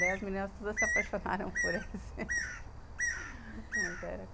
Daí as meninas todas se apaixonaram por ele